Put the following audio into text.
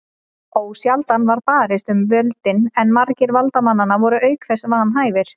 Ósjaldan var barist um völdin en margir valdamanna voru auk þess vanhæfir.